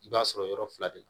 I b'a sɔrɔ yɔrɔ fila de la